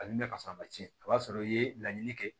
A ni ne ka sɔrɔ a ma tiɲɛ o b'a sɔrɔ i ye laɲini kɛ